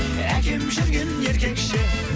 әкем жүрген еркекше